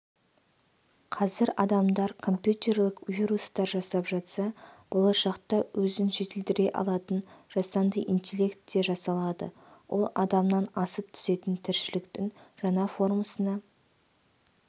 қазір адамдар компьютерлік вирустар жасап жатса болашақта өзін жетілдіре алатын жасанды интелект те жасалады ол адамнан асып түсетін тіршілктің жаңа формасына